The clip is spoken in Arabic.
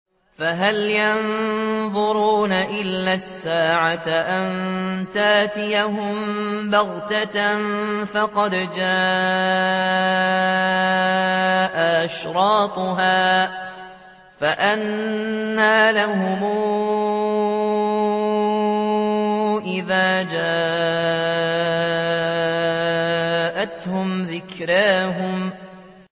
فَهَلْ يَنظُرُونَ إِلَّا السَّاعَةَ أَن تَأْتِيَهُم بَغْتَةً ۖ فَقَدْ جَاءَ أَشْرَاطُهَا ۚ فَأَنَّىٰ لَهُمْ إِذَا جَاءَتْهُمْ ذِكْرَاهُمْ